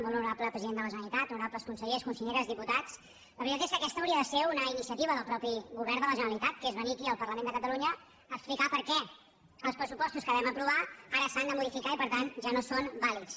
molt honorable president de la generalitat honorables consellers conselleres diputats la veritat és que aquesta hauria de ser una iniciativa del mateix govern de la generalitat que és venir aquí al parlament de catalunya a explicar per què els pressupostos que vam aprovar ara s’han de modificar i per tant ja no són vàlids